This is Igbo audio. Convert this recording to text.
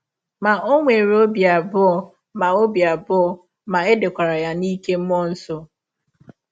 Ma, ọ nwere ọbi abụọ ma ọbi abụọ ma è dekwara ya n’ike mmụọ nsọ.